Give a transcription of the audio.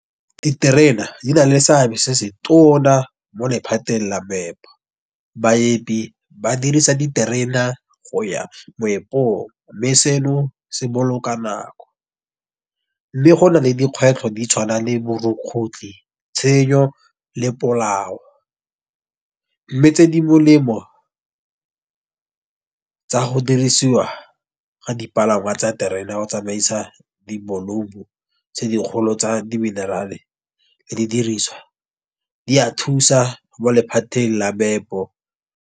Diterena di na le seabe se se tona mo lephateng la . Baepi ba dirisa diterena go ya moepong, mme seno se boloka nako. Le go na le dikgwetlho di tshwana le borukgutlhi, tshenyo, le polao. Mme tse di molemo tsa go dirisiwa ga dipalangwa tsa terena go tsamaisa di dikgolo tsa di minerale le di diriswa di a thusa bo lephateng la meepo.